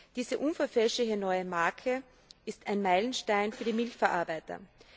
Diese unverfälschliche neue Marke ist ein Meilenstein für die Milchverarbeiter.